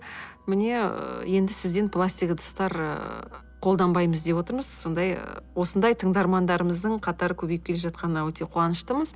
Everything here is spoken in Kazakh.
міне ы енді сізден пластик ыдыстар ы қолданбаймыз деп отырмыз сондай ы осындай тыңдармандарымыздың қатары көбейіп келе жатқанына өте қуаныштымыз